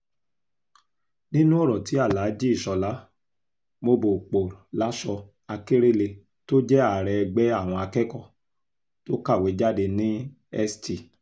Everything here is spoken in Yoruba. nínú ọ̀rọ̀ tí alháàjì ishólà mobopolásọ̀ akérẹ́lẹ̀ tó jẹ́ ààrẹ ẹgbẹ́ àwọn akẹ́kọ̀ọ́ tó kàwé jáde ní st